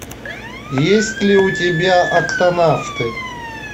есть ли у тебя октонавты